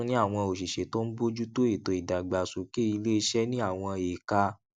a tún ní àwọn òṣìṣé tó ń bójú tó ètò ìdàgbàsókè ilé iṣé ní àwọn èka